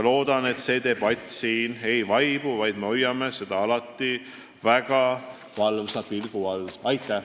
Loodan, et debatt siin ei vaibu, vaid hoiame seda teemat alati väga valvsa pilgu all.